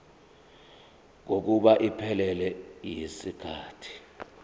kokuba iphelele yisikhathi